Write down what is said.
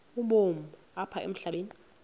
ubomi apha emhlabeni